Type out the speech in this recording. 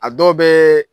A dɔw bɛ